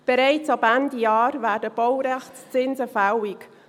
Bereits ab Ende Jahr werden Baurechtszinse fällig.